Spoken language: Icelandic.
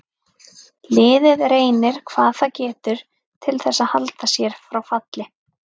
Liðið reynir hvað það getur til þess að halda sér frá falli.